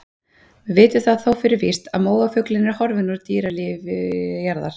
Við vitum það þó fyrir víst að móafuglinn er horfinn úr dýralífi jarðar.